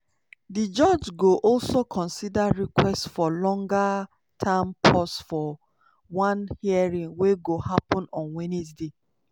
di judge go also consider request for longer-term pause for one hearing wey go happun on wednesday.